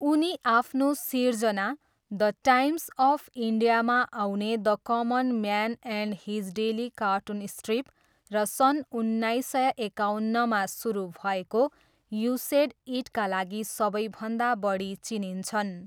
उनी आफ्नो सिर्जना, द टाइम्स अफ इन्डियामा आउने the common man and his daily cartoon strip र सन् उन्नाइस सय एकाउन्नमा सुरु भएको यू सेड इटका लागि सबैभन्दा बढी चिनिन्छन्।